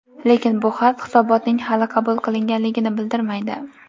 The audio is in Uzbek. Lekin bu xat hisobotning hali qabul qilinganligini bildirmaydi.